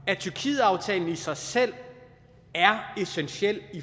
at tyrkietaftalen i sig selv er essentiel